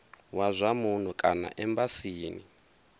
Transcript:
wa zwa muno kana embasini